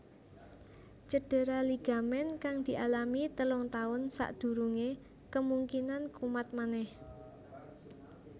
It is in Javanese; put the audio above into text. Cedera ligamen kang dialami telung taun sakdurungé kemungkinan kumat manèh